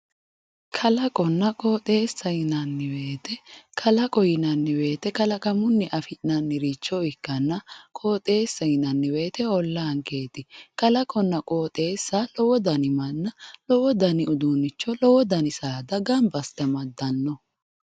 Kalaqonna qoxxeessa yinnanni woyte kalaqo yinnanni woyte kalaqamunni affi'nanniricho ikkanna qoxxeessa yinnanni woyte ollanketi kalaqonna qoxxeessa lowo danni manna lowo danni uduunicho, lowo danni saada gamba asse amadano.